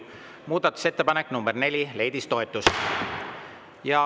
Muudatusettepanek nr 4 leidis toetust.